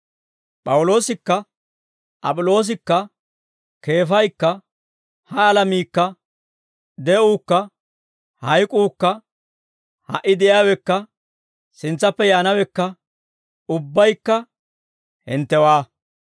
P'awuloosikka, Ap'iloosikka, Keefaykka, ha alamiikka, de'uukka, hayk'uukka, ha"i de'iyaawekka, sintsappe yaanawekka, ubbaykka hinttewaa.